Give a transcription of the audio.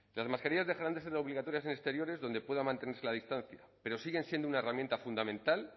las mascarillas dejarán de ser obligatorias en exteriores donde puedan mantenerse la distancia pero siguen siendo una herramienta fundamental